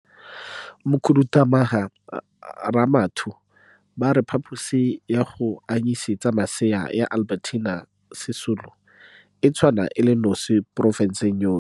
Mokhuduthamaga Ramathu ba a re Phaposi ya go anyise tsa masea ya Albertina Sisulu e tshwana e le nosi mo porofenseng yotlhe.